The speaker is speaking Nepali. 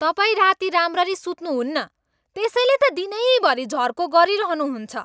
तपाईँ राति राम्ररी सुत्नुहुन्न त्यसैले त दिनैभरि झर्को गरिरहनुहुन्छ।